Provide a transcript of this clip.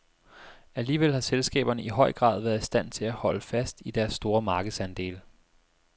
Alligevel har selskaberne i høj grad været i stand til at holde fast i deres store markedsandele.